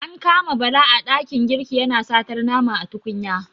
An kama Bala a ɗakin girki yana satar nama a tukunya.